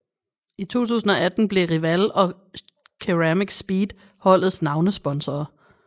I 2018 blev Riwal og CeramicSpeed holdets navnesponsorer